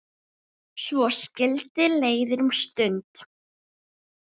Svo skildi leiðir um stund.